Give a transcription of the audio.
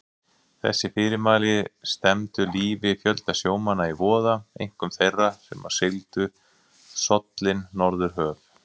Þessi fyrirmæli stefndu lífi fjölda sjómanna í voða, einkum þeirra, sem sigldu sollin norðurhöf.